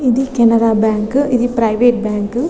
ఇది కెనరా బ్యాంకు ఇది private bank